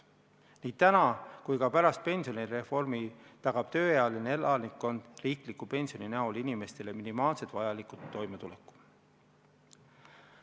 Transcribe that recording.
Nii täna kui ka pärast pensionireformi tagab tööealine elanikkond riikliku pensioni näol inimestele minimaalselt vajaliku toimetuleku.